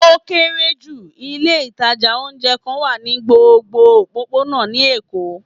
O kere ju, ilé itaja oúnjẹ kan wa ni gbógbó ọpopona ni Èko